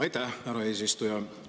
Aitäh, härra eesistuja!